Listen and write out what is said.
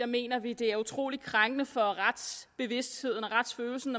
mener vi det er utrolig krænkende for retsbevidstheden og retsfølelsen